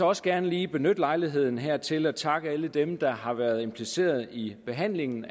også gerne lige benytte lejligheden her til at takke alle dem der har været impliceret i behandlingen